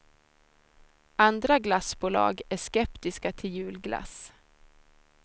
Andra glassbolag är skeptiska till julglass.